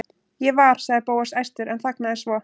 Ég var.- sagði Bóas æstur en þagnaði svo.